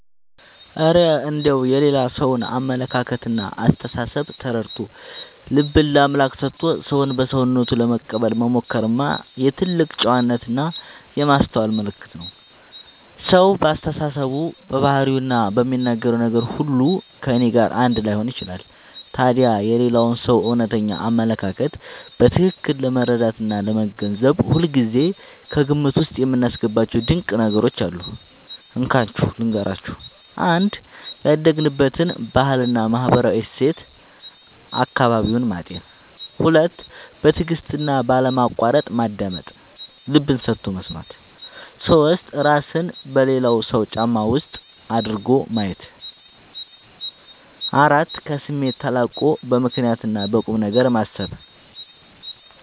እረ እንደው የሌላ ሰውን አመለካከትና አስተሳሰብ ተረድቶ፣ ልብን ለአምላክ ሰጥቶ ሰውን በሰውነቱ ለመቀበል መሞከርማ የትልቅ ጨዋነትና የማስተዋል ምልክት ነው! ሰው በአስተሳሰቡ፣ በባህሪውና በሚናገረው ነገር ሁሉ ከእኔ ጋር አንድ ላይሆን ይችላል። ታዲያ የሌላውን ሰው እውነተኛ አመለካከት በትክክል ለመረዳትና ለመገንዘብ ሁልጊዜ ከግምት ውስጥ የማስገባቸው ድንቅ ነገሮች አሉ፤ እንካችሁ ልንገራችሁ - 1. ያደገበትን ባህልና ማህበራዊ እሴት (አካባቢውን) ማጤን 2. በትዕግስትና ባለማቋረጥ ማዳመጥ (ልብ ሰጥቶ መስማት) 3. እራስን በሌላው ሰው ጫማ ውስጥ አድርጎ ማየት 4. ከስሜት ተላቆ በምክንያትና በቁምነገር ማሰብ